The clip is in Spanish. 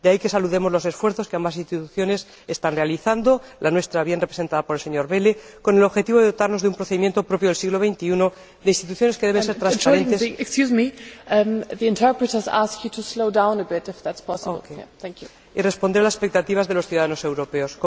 De ahí que saludemos los esfuerzos que ambas instituciones están realizando —la nuestra, bien representada por el señor Welle—, con el objetivo de dotarnos de un procedimiento propio del siglo XXI, de unas instituciones que deben ser transparentes y responder a las expectativas de los ciudadanos europeos.